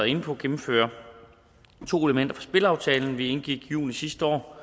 inde på gennemfører to elementer fra spilaftalen vi indgik i juni sidste år